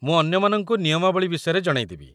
ମୁଁ ଅନ୍ୟମାନଙ୍କୁ ନିୟମାବଳୀ ବିଷୟରେ ଜଣେଇଦେବି